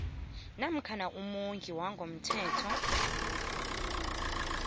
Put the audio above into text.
namkha umondli wangokomthetho